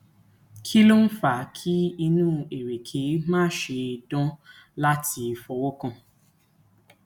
kí ló ń fa kí inu ereke mase dan lati fowokan